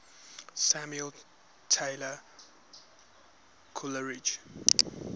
samuel taylor coleridge